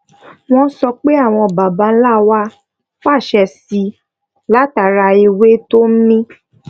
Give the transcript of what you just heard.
wón sọ pé àwọn baba ńlá wa fàṣẹ síi látara ewé tó ń mì